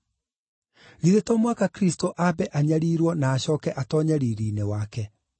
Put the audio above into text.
Githĩ to mũhaka Kristũ ambe anyariirwo na acooke atoonye riiri-inĩ wake?”